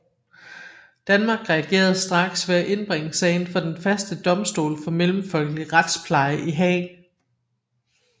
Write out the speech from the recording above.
Danmark reagerede straks ved at indbringe sagen for Den Faste Domstol for Mellemfolkelig Retspleje i Haag